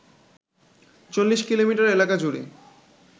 চল্লিশ কিলোমিটার এলাকাজুড়ে